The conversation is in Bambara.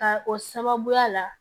Ka o sababuya la